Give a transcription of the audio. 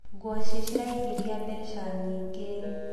ngwaci ciraingiria mbeca nyingi